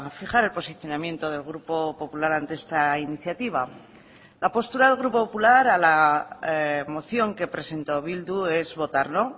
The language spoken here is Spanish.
fijar el posicionamiento del grupo popular ante esta iniciativa la postura del grupo popular a la moción que presentó bildu es votar no